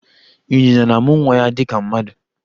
Ịnyịnya na-amụ nwa ya dịka mmadụ